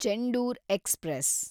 Chendur express